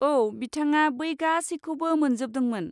औ, बिथाङा बै गासैखौबो मोनजोबदोंमोन।